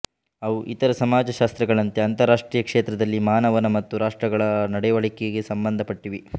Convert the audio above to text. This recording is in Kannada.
ಅವು ಇತರ ಸಮಾಜಶಾಸ್ತ್ರಗಳಂತೆ ಅಂತಾರಾಷ್ಟ್ರೀಯ ಕ್ಷೇತ್ರದಲ್ಲಿ ಮಾನವನ ಮತ್ತು ರಾಷ್ಟ್ರಗಳ ನಡೆವಳಿಕೆಗೆ ಸಂಬಂಧಪಟ್ಟಿವೆ